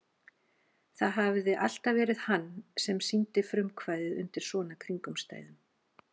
Það hafði alltaf verið hann sem sýndi frumkvæðið undir svona kringumstæðum.